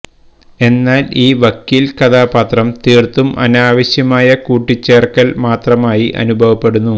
എന്നാൽ ഈ വക്കീൽ കഥാപാത്രം തീർത്തും അനാവശ്യമായ കൂട്ടിച്ചേർക്കൽ മാത്രമായി അനുഭവപ്പെടുന്നു